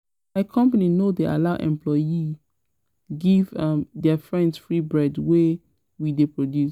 um My company no dey allow employee give um their friend free bread wey we dey produce